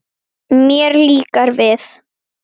Vonandi nær hann bata.